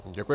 Děkuji.